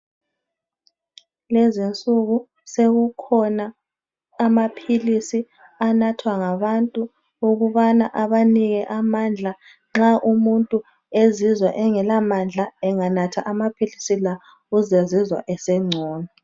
Lezinsuku, sekukhona amaphilisi anathwa ngabantu ukubana abanike amandla, nxa umuntu ezizwa engelamandla enganatha amaphilisi la uzazizwa esengcono